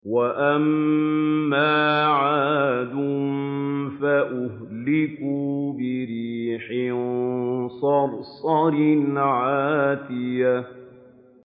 وَأَمَّا عَادٌ فَأُهْلِكُوا بِرِيحٍ صَرْصَرٍ عَاتِيَةٍ